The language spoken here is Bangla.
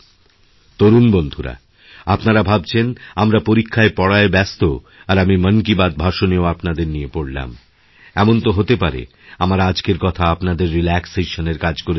তরুণ বন্ধুরা আপনারা ভাবছেনআমরা পরীক্ষার পড়ায় ব্যস্ত আর আমি মন কি বাত ভাষণেও আপনাদের নিয়ে পড়লাম এমন তোহতে পারে আমার আজকের কথা আপনাদের রিল্যাক্সেশন এর কাজ করে দিল